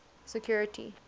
security